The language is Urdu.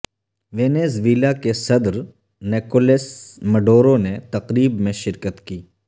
ونیزویلا کے صدر نکولس مڈورو نے تقریب میں شرکت کی